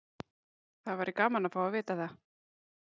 Það væri gaman að fá að vita það.